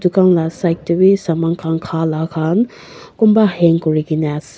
tucan la side dae bi saman kan ka la kan kunba hang kuri kina ase.